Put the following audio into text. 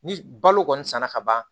Ni balo kɔni sanna ka ban